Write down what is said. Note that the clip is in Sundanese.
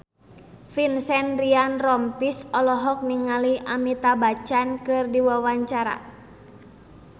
Vincent Ryan Rompies olohok ningali Amitabh Bachchan keur diwawancara